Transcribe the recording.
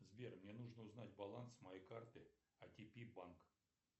сбер мне нужно узнать баланс моей карты отп банк